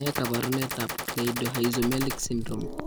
Ne kaabarunetap Cleidorhizomelic syndrome?